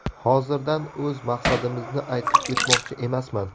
Hozirdan o‘z maqsadimizni aytib o‘tmoqchi emasman.